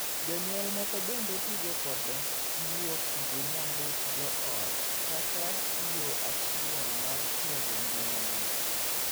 Jonyuol moko bende tugo kod guok gi nyambuch joot kaka yoo achiel mar tego ngimagi.